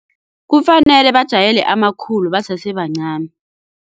Kufanele bajayele amakhulu basese bancani.